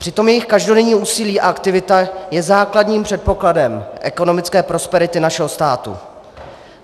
Přitom jejich každodenní úsilí a aktivita je základním předpokladem ekonomické prosperity našeho státu.